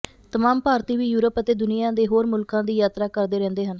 ਤਮਾਮ ਭਾਰਤੀ ਵੀ ਯੂਰਪ ਅਤੇ ਦੁਨੀਆ ਦੇ ਹੋਰ ਮੁਲਕਾਂ ਦੀ ਯਾਤਰਾ ਕਰਦੇ ਰਹਿੰਦੇ ਹਨ